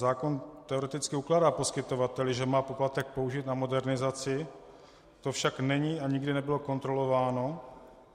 Zákon teoreticky ukládá poskytovateli, že má poplatek použít na modernizaci, to však není a nikdy nebylo kontrolováno.